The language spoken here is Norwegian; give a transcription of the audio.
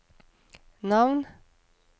navn